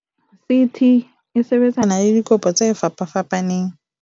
"CT e sebetsana le dikopo tse fapafapaneng."